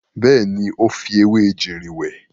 Bẹ́ẹ̀ni, ó fi ewé ejìrìn wẹ̀.